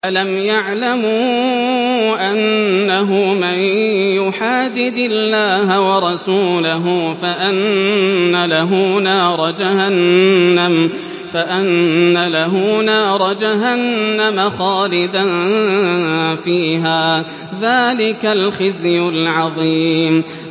أَلَمْ يَعْلَمُوا أَنَّهُ مَن يُحَادِدِ اللَّهَ وَرَسُولَهُ فَأَنَّ لَهُ نَارَ جَهَنَّمَ خَالِدًا فِيهَا ۚ ذَٰلِكَ الْخِزْيُ الْعَظِيمُ